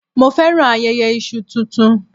Mo féràn ayẹyẹ Iṣu tuntun.